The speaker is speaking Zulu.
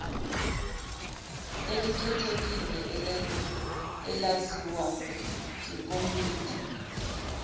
elikhethekile elaziwa ngekomidi